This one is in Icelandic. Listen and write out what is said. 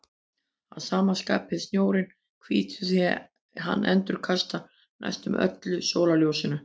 Að sama skapi er snjórinn hvítur því hann endurkastar næstum öllu sólarljósinu.